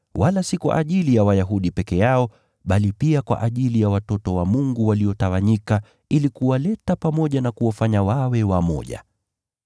wala si kwa ajili ya taifa hilo pekee, bali pia kwa ajili ya watoto wa Mungu waliotawanyika, ili kuwaleta pamoja na kuwafanya wawe wamoja.